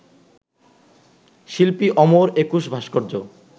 শিল্পী অমর একুশ ভাস্কর্য